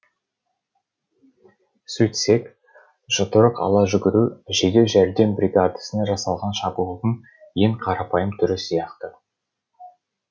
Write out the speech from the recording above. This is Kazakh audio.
сөйтсек жұдырық ала жүгіру жедел жәрдем бригадасына жасалған шабуылдың ең қарапайым түрі сияқты